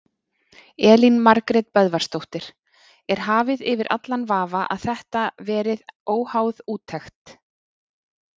Elín Margrét Böðvarsdóttir: Er hafið yfir allan vafa að þetta verið óháð úttekt?